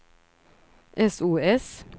sos